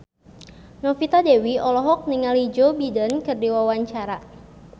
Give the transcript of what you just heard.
Novita Dewi olohok ningali Joe Biden keur diwawancara